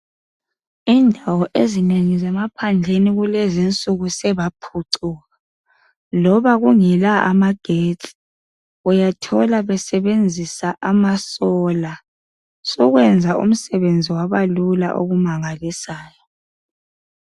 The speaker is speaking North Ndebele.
Indawo ezinengi emaphandleni kulezinsuku sokwaphucuka loba bengela magetsi uyathola besebenzisa amasola, sebaphucuka okumangalisayo.